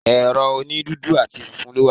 Ẹ̀rọ òní dúdú àti funfun ló wà